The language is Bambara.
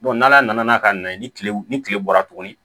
n'ala nana ka na ye ni kilew ni kile bɔra tuguni